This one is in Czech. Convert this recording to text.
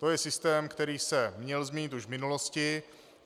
To je systém, který se měl změnit již v minulosti.